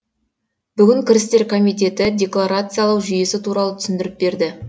бүгін кірістер комитеті деклорациялау жүйесі туралы түсінідіріп берді